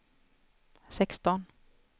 sexton